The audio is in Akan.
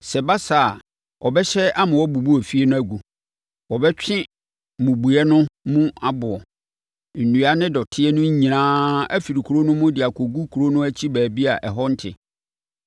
Sɛ ɛba saa a, ɔbɛhyɛ ama wɔabubu efie no agu. Wɔbɛtwe mmubuiɛ no mu aboɔ, nnua ne dɔteɛ no nyinaa afiri kuro no mu de akɔgu kuro no akyi baabi a ɛhɔ ho nte.